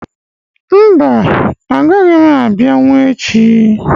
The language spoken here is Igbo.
mba, agaghị m abịanwu echi.